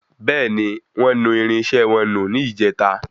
Bẹ́ẹ̀ni, wọ́n nu irinṣẹ́ wọn nù ní ìjèta